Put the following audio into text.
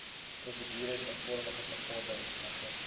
prosedures eenvormige verordenige